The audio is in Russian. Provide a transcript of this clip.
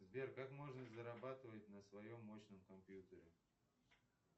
сбер как можно зарабатывать на своем мощном компьютере